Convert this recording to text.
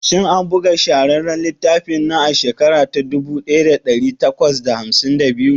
Shin an buga shahararren littafin nan a shekara ta dubu daya da dari takwas da hamsin da biyu?